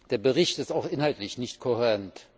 Der Bericht ist auch inhaltlich nicht kohärent.